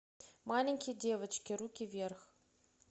маленькие девочки руки вверх